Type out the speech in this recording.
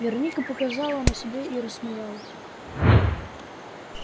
вероника показала на себя и рассмеялась